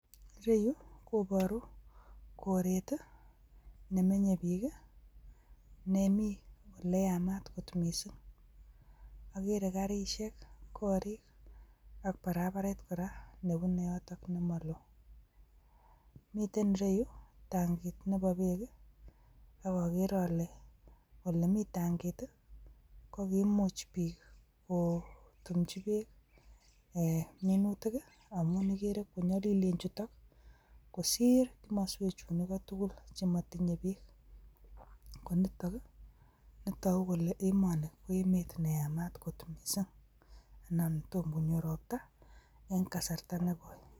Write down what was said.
Ireyu koboru kooret nemenye biik. Nemi oleyaamat kor missing, agree garisiek, gorik ak barabaret koraa nebune yotok yemoloo. Miten ireyu tangiit neboo beek i ak agree ale elemii tangiit ko kakimuch ketumchii berk munuutik amu. ikere konyolilieen chutet kosiir komoswek chunikoo tugul chemotinyee beek. Nitok koboru kele emoni ko emet neyaamat kot Missing anan tom konyoor ropta en kasarta nekoi.